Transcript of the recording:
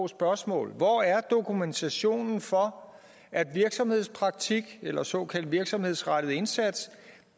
spørgsmål hvor er dokumentationen for at virksomhedspraktik eller såkaldt virksomhedsrettet indsats